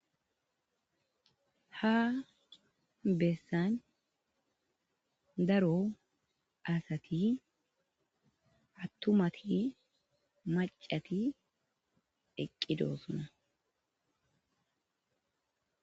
Ha beessan daro asati attumati macati eqqido suna.